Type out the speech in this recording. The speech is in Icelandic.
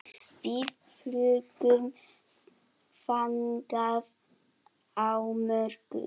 Við fljúgum þangað á morgun.